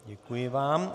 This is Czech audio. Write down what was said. Děkuji vám.